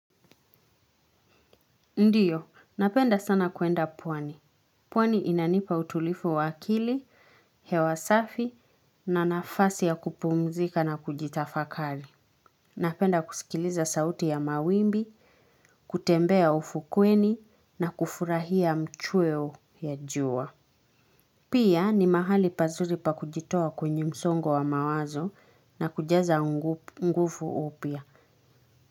Ndiyo, napenda sana kuenda pwani. Pwani inanipa utulifu wakili, hewasafi na nafasi ya kupumzika na kujitafakali. Napenda kusikiliza sauti ya mawimbi, kutembea ufukweni na kufurahia mchweo ya jua. Pia ni mahali pazuri pa kujitoa kwenye msongo wa mawazo na kujaza ngufu upia.